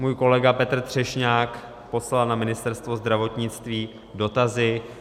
Můj kolega Petr Třešňák poslal na Ministerstvo zdravotnictví dotazy.